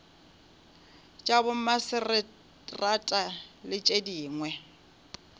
tša bomaseterata le tše dingwe